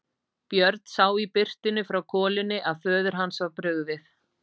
Björn sá í birtunni frá kolunni að föður hans var brugðið.